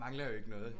Mangler jo ikke noget